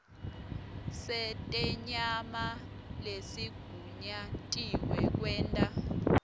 setenyama lesigunyatiwe kwenta